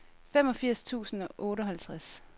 femogfirs tusind og otteoghalvtreds